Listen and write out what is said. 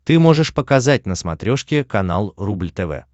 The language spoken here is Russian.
ты можешь показать на смотрешке канал рубль тв